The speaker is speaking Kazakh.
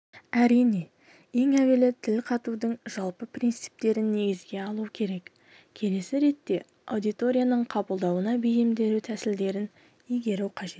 әрине ең әуелі тіл қатудың жалпы принциптерін негізге алу керек келесі ретте аудиторияның қабылдауына бейімделу тәсілдерін игеру қажет